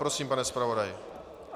Prosím, pane zpravodaji.